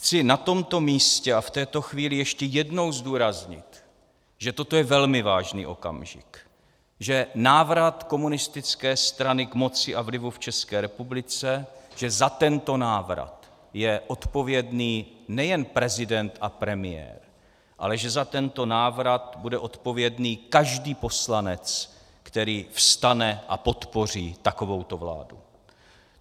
Chci na tomto místě a v této chvíli ještě jednou zdůraznit, že toto je velmi vážný okamžik, že návrat komunistické strany k moci a vlivu v České republice, že za tento návrat je odpovědný nejen prezident a premiér, ale že za tento návrat bude odpovědný každý poslanec, který vstane a podpoří takovouto vládu.